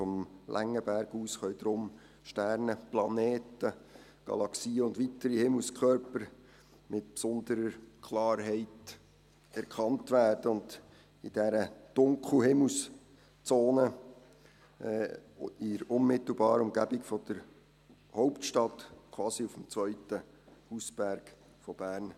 Vom Längenberg aus können darum Sternen, Planeten, Galaxien und weitere Himmelskörper mit besonderer Klarheit erkannt werden, in dieser Dunkelhimmelszone in der unmittelbaren Umgebung der Hauptstadt, quasi auf dem zweiten Hausberg von Bern;